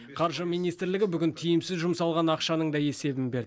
қаржы министрлігі тиімсіз жұмсалған ақшаның да есебін берді